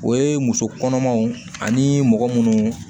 O ye muso kɔnɔmaw ani mɔgɔ munnu